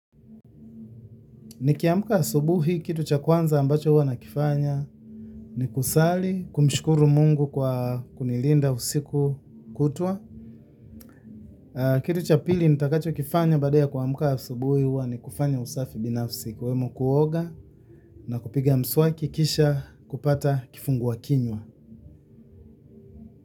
Nikiamka asubuhi kitu cha kwanza ambacho huwana kifanya ni kusali, kumshukuru Mungu kwa kunilinda usiku kutwa. Kitu cha pili nitakacho kifanya baadaya kua mka asubuhi hua ni kufanya usafi binafsi ikiwemo kuoga na kupiga mswaki kisha kupata kifungu wa kinywa.